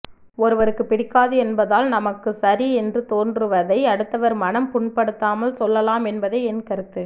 ஒருவருக்குப் பிடிக்காது என்பதால் நமக்குச் சரி என்று தோன்றுவதை அடுத்தவர் மனம் புண்படுத்தாமல் சொல்லலாம் என்பதே என் கருத்து